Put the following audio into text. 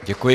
Děkuji.